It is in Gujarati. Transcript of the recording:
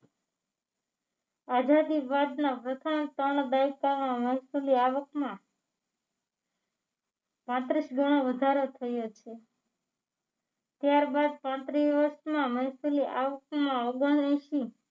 આઝાદી બાદના પ્રથમ ત્રણ દાયકામાં મહેસુલી આવકમાં ત્રીસ ગણો વધારો થયો છે ત્યારબાદ પાંત્રી વર્ષમાં મહેસૂલી આવકમાં ઓગણએંશી